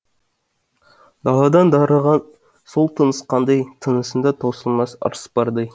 даладан дарыған сол тыныс қандай тынысында таусылмас ырыс бардай